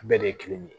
Bɛɛ de ye kelen ye